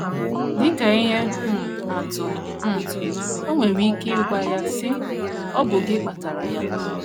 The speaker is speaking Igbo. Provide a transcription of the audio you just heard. Dị ka ihe um atụ um, o nwere ike ịgwa ya, sị: Ọ bụ gị kpatara ya.